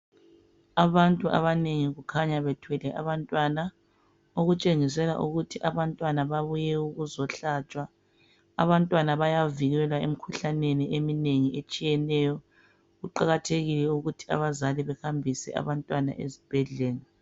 Abantu abanengi kukhanya bethele abantwana. Okutshengisela ukuthi abantwana babuye ukuzohlatshwa. Abantwana bayavikelwa emikhuhlaneni eminengi etshiyeneyo. Kuqakathekile ukuthi abazali behambise abantwana ezibhedlela.